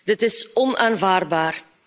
Dit is onaanvaardbaar!